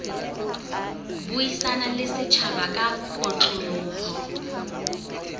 buisana le setjhaba ka kotloloho